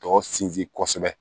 Tɔ sinsin kosɛbɛ